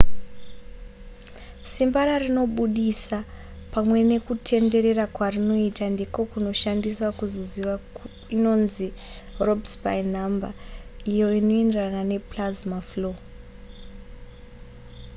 simba rarinobudisa pamwe nekutenderera kwarinoita ndiko kunoshandiswa kuzoziva inonzi rossby number iyo inoenderana neplasma flow